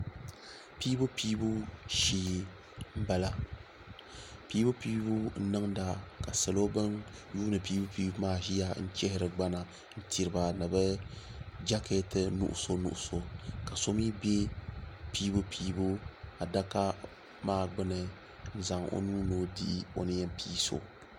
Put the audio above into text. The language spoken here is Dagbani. pɛbupɛbu shɛɛ n bala pɛbupɛbu n niŋ da ka salo bɛn yuni pɛbupɛbu maa ʒɛya n chɛri gbana tɛri niriba ni be jakɛtɛ nuɣisu nuɣisu ka so mi bɛ pɛbupɛbu a daka maa gbani n zaŋ o nuu no dihi o ni yɛn pɛiso